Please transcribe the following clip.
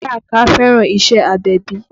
Baraka fẹ́ràn iṣẹ́ agbẹ̀bí